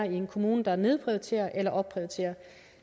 i en kommune der nedprioriterer eller opprioriterer